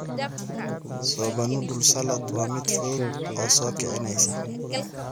Soba Noodle Salad waa mid fudud oo soo kicinaysa.